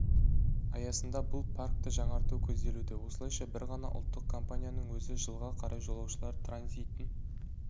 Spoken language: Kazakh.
аясында бұл паркты жаңарту көзделуде осылайша бір ғана ұлттық компанияның өзі жылға қарай жолаушылар транзитін